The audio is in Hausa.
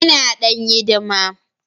Ina dan hidimar.